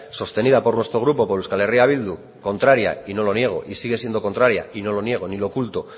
sostenida por nuestro grupo por euskal herria bildu contraria y no lo niego y sigue siendo contraria y no lo niego ni lo oculto